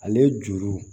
Ale juru